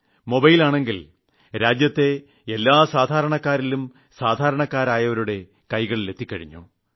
മൊബൈലാണെങ്കിൽ രാജ്യത്തെ എല്ലാ സാധാരണക്കാരിലും സാധാരണക്കാരുടെയും കൈകളിൽ എത്തിക്കഴിഞ്ഞു